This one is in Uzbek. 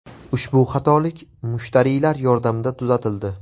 Ushbu xatolik mushtariylar yordamida tuzatildi.